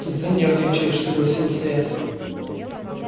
тут занервничаешь согласился я